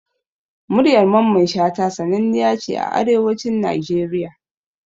Muryar mamman Shata sananniya ce a Arewacin Nigeria